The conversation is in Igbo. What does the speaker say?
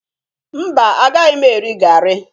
Mba, agaghị m eri garri